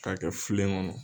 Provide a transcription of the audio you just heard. K'a kɛ filen kɔnɔ.